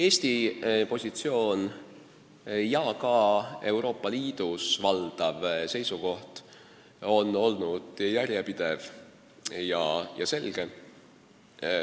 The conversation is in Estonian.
Eesti positsioon ja ka Euroopa Liidu valdav seisukoht on olnud järjepidev ja selge.